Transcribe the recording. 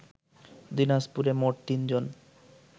দিনাজপুরে মোট তিনজন